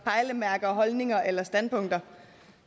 pejlemærker holdninger eller standpunkter